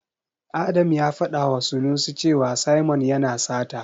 Adam ya faɗawa Sanusi cewa Simon yana sata.